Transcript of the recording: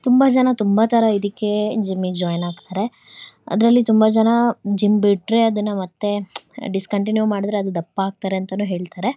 ತುಂಬಾ ಜನ ತುಂಬಾ ತರ ಇದಿಕ್ಕೆ ಜಿಮ್ಮಿಗ್ ಜಾಯಿನ್ ಆಗ್ತಾರೆ ಅದ್ರಲ್ಲಿ ತುಂಬಾ ಜನ ಜಿಮ್ ಬಿಟ್ರೆ ಅದುನ್ನೇ ಮತ್ತೆ ಡಿಸ್ಕಂಟಿನ್ಯೂ ಮಾಡಿದ್ರೆ ಅದು ದಪ್ಪ ಆಗ್ತಾರೆ ಅಂತಾನೂ ಹೇಳ್ತಾರೆ.